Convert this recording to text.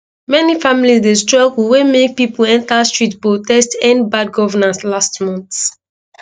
many families dey struggle wey make pipo enta street protest end bad governance last month